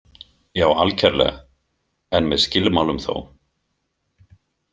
Já, algerlega, en með skilmálum þó.